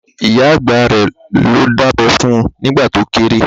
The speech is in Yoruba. Ìyá àgbà rẹ̀ ló dábẹ́ fun nìgbà to kéré